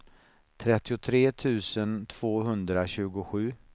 trettiotre tusen tvåhundratjugosju